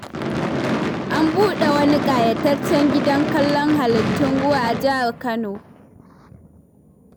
An buɗe wani ƙayataccen gidan kallon halittun ruwa a jihar Kano.